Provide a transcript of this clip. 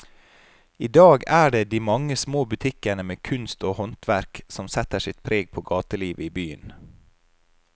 I dag er det de mange små butikkene med kunst og håndverk som setter sitt preg på gatelivet i byen.